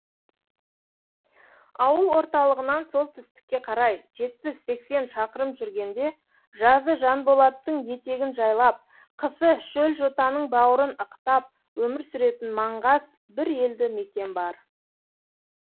ауыл орталығынан солтүстікке қарай жетпіс сексен шақырым жүргенде жазы жанболаттың етегін жайлап қысы шөлжотаның бауырын ықтап өмір сүретін маңғаз бір елді мекен бар